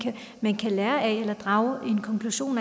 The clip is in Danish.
man kan lære af eller drage en konklusion